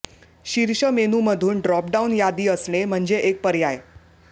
शीर्ष मेनूमधून drop down यादी असणे म्हणजे एक पर्याय